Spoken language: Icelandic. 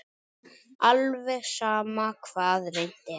Alveg sama hvað reynt er.